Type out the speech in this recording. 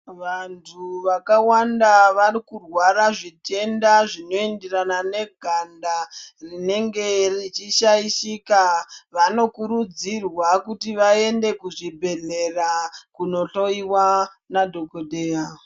Vantu vakawanda varikurwara zvitenda zvinoyenderana neganda rinenge richishayishika. Vanokurudzirwa kuti vayende kuzvibhedhlera kunohloyiwa nadhokodheya.